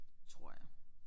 Tror jeg